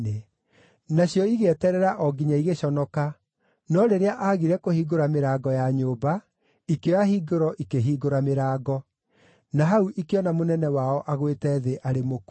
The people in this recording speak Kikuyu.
Nacio igĩeterera o nginya igĩconoka, no rĩrĩa aagire kũhingũra mĩrango ya nyũmba, ikĩoya hingũro ikĩhingũra mĩrango. Na hau ikĩona mũnene wao agũĩte thĩ arĩ mũkuũ.